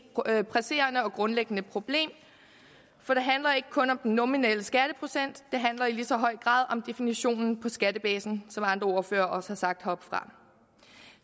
presserende og grundlæggende problem for det handler ikke kun om den nominelle skatteprocent det handler i lige så høj grad om definitionen på skattebasen som andre ordførere også har sagt heroppefra